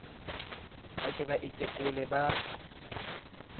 ba ke ba itekole ba